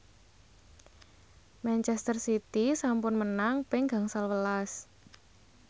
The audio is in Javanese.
manchester city sampun menang ping gangsal welas